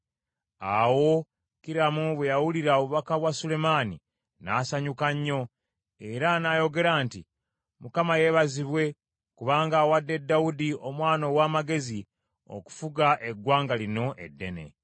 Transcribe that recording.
Awo Kiramu bwe yawulira obubaka bwa Sulemaani, n’asanyuka nnyo era n’ayogera nti, “ Mukama yeebazibwe, kubanga awadde Dawudi omwana ow’amagezi okufuga eggwanga lino eddene.”